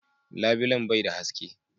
Labilen bai da haske.